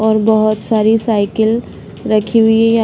और बहुत सारी साइकिल रखी हुई है।